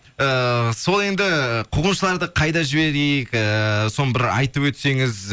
ііі сол енді қуғыншыларды қайда жіберейік ііі соны бір айтып өтсеңіз